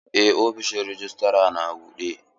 Eh ofishin rejistra na buɗe.